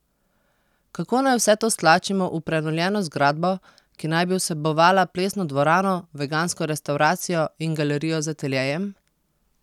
Kako naj vse to stlačimo v prenovljeno zgradbo, ki naj bi vsebovala plesno dvorano, vegansko restavracijo in galerijo z ateljejem?